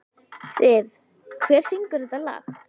Siv, hver syngur þetta lag?